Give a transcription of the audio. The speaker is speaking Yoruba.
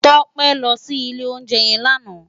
Tope lò si ilé óunjè yèn làná